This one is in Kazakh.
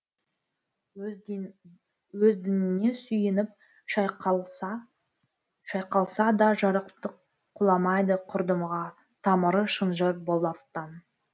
өз діңіне сүйеніп шайқалса да жарықтық құламайды құрдымға тамыры шынжыр болаттан